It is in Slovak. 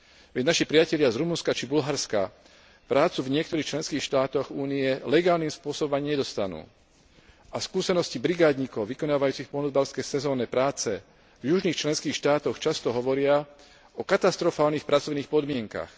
Veď naši priatelia z Rumunska či Bulharska prácu v niektorých členských štátoch Únie legálnym spôsobom ani nedostanú a skúsenosti brigádnikov vykonávajúcich poľnohospodárske sezónne práce v južných členských štátoch často hovoria o katastrofálnych pracovných podmienkach.